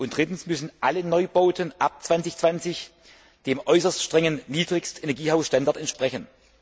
Drittens müssen alle Neubauten ab 2020 dem äußerst strengen Niedrigstenergiehaus Standard entsprechen.